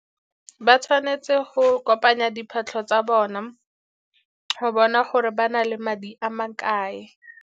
Ba tshwanetse go kopanya diphatlho tsa bona go bona gore ba na le madi a makae.